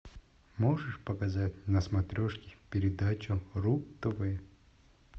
можешь показать на смотрешке передачу ру тв